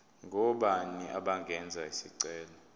ngobani abangenza isicelo